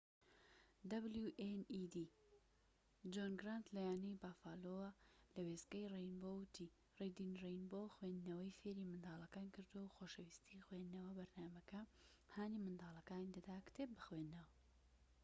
جۆن گرانت لە یانەی بەفالۆ wned ەوە لە وێستگەی رەینبۆ وتی ریدین رەینبۆ خوێندنەوەی فێری منداڵەکان کردووە، خۆشەویستی خوێندنەوە [بەرنامەکە] هانی منداڵەکانی دەدا کتێب بخوێننەوە.